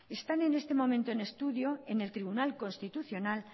están en este momento en estudio en el tribunal constitucional